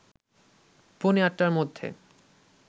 পৌনে ৮টার মধ্যে